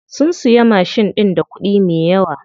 Sun siya mashin ɗin da kuɗi me yawa.